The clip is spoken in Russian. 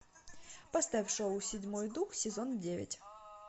поставь шоу седьмой дух сезон девять